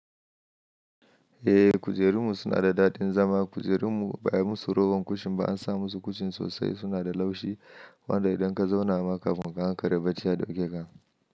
Eh, kujerunmu suna da daɗin zama. Kujerunmu ba'ai musu rowar kushin ba, an sa musu kushin sosai. Suna da laushi, wanda idan ka zauna ma kafun ka, an kare bacci ya ɗauke ka.